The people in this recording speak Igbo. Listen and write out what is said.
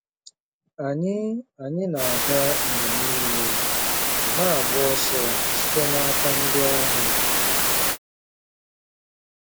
Anyị Anyị na-aga mgbe niile, na-agba ọsọ site n'aka ndị agha.